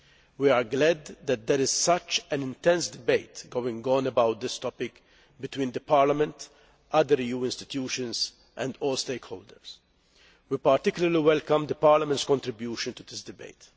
We are glad that there is such an intense debate going on about this topic between Parliament, other EU institutions and all stakeholders. We particularly welcome Parliament's contribution to this debate.